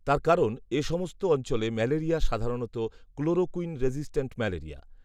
তার কারণ, এ সমস্ত অঞ্চলে ম্যালেরিয়া সাধারণত ক্লোরোকুইন রেসিস্ট্যান্ট ম্যালেরিয়া